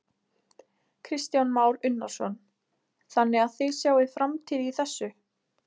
Kristján Már Unnarsson: Þannig að þið sjáið framtíð í þessu?